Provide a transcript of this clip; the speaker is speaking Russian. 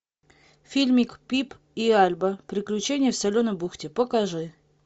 фильмик пип и альба приключения в соленой бухте покажи